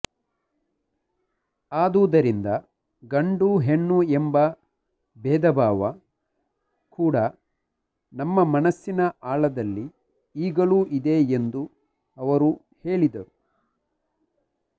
ಆದುದರಿಂದ ಗಂಡು ಹೆಣ್ಣು ಎಂಬ ಬೇಧ ಭಾವ ಕೂಡ ನಮ್ಮ ಮನಸ್ಸಿನ ಆಳದಲ್ಲಿ ಈಗಲೂ ಇದೆ ಎಂದು ಅವರು ಹೇಳಿದರು